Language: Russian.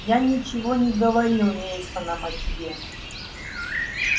я ничего не говорил мейсонам о тебе